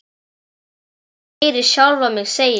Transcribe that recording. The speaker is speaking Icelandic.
Og ég heyri sjálfa mig segja: